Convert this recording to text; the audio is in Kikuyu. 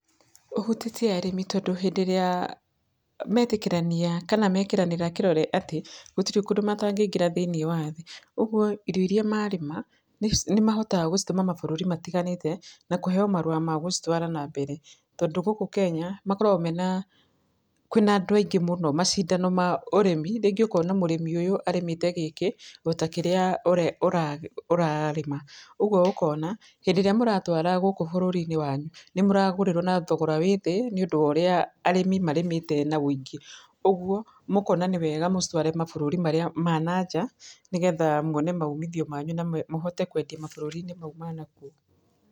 Ũhutĩtie arĩmi tondũ hĩndĩ ĩrĩa metĩkĩrania kana mekĩranĩra kĩrore atĩ gũtirĩ kũndũ matakĩngĩra thĩiniĩ wa thĩ, ũgo irio ĩrĩa marĩma nĩmahotaga gũcitũma mabururi matiganĩte na kũheyo marũa magũcitwara na mbere, tondũ gũkũ Kenya makorwo mena, kwĩ na andũ maingĩ mũno, macindano ma ũrĩmi, rĩngĩ ũkona mũrĩmi ũyũ arĩmĩte kĩndũ gĩkĩ o ta kĩrĩa ũrarĩma, ũguo ũkona hĩndĩ ĩrĩa mũratwara gũkũ bũrũri-inĩ, wanyu nĩmũragũrĩrwo na thogora wĩ thĩ, nĩũndũ worĩa arĩmi marĩmĩte na ũingĩ, ũguo mũkona nĩ wega mũcitware mabũrũri marĩa ma na nja, nĩgetha mwone maumithio manyu na mũhote kwendia mabũrũri mau ma na kũu.